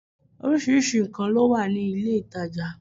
Orísirísi nkàn ló wà ní ilé ìtajà